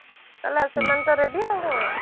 ହେଲା ସେମାନେ ତ reedy ଆଉ କଣ